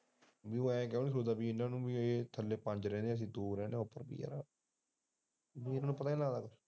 ਇਨਾਂ ਨੂੰ ਐ ਇਹ ਥੱਲੇ ਪੰਜ ਰਹਿੰਦੇ ਐ ਅਸੀਂ ਉੱਪਰ ਦੋ ਰਹਿੰਦੇ ਐ ਠੀਕ ਐ ਨਾ ਪਤਾ ਨੀ ਲੱਗਦਾ